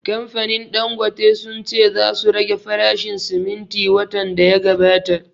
Kamfanin Dangote sun ce za su rage farashin siminti watan da ya gabata